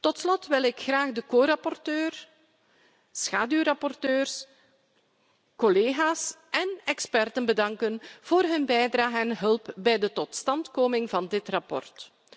Tot slot wil ik graag de co rapporteur, schaduwrapporteurs, collega's en experts bedanken voor hun bijdrage en hulp bij de totstandkoming van dit verslag.